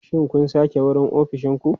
Shin kun sake wurin ofishin ku?